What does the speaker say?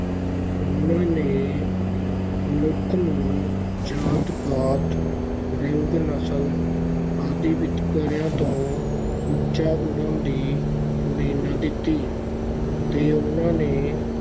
ਉਹਨਾਂ ਨੇ ਮਨੁੱਖ ਨੂੰ ਜਾਤ-ਪਾਤ, ਰੰਗ, ਨਸਲ ਆਦਿ ਵਿਤਕਰਿਆਂ ਤੋਂ ਉੱਚਾ ਉਠਣ ਦੀ ਪ੍ਰੇਰਨਾ ਦਿੱਤੀ, ਤੇ ਉਹਨਾਂ ਨੇ